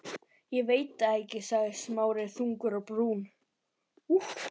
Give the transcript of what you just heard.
Ég veit það ekki sagði Smári þungur á brún.